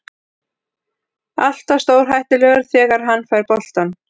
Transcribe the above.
Alltaf stórhættulegur þegar hann fær boltann.